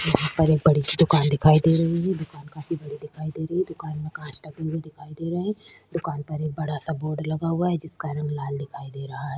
यहाँ पर एक बड़ी-सी दूकान दिखाई दे रही है ये दूकान काफी बड़ी दिखाई दे रही है दूकान में कांच लगी हुई दिखाई दे रही है दूकान पर एक बड़ा-सा बोर्ड लगा हुआ है जिसका रंग लाल दिखाई दे रहा है ।